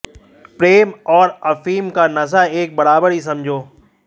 प्रेम और अफीम का नशा एक बराबर ही समझो